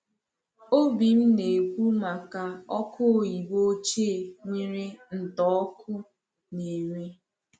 Obím na-ekwu maka ọkụ oyibo ochie nwere ntà ọkụ na-ere.